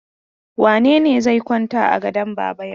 Wane ne zai kwanta a gadon baba yau?